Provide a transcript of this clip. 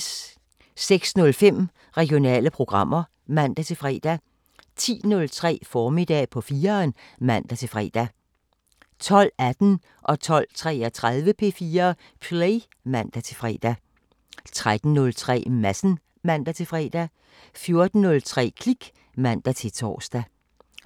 06:05: Regionale programmer (man-fre) 10:03: Formiddag på 4'eren (man-fre) 12:18: P4 Play (man-fre) 12:33: P4 Play (man-fre) 13:03: Madsen (man-fre) 14:03: Klik (man-tor)